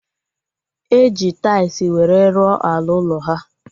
E ji tais were rụọ ala ụlọ ha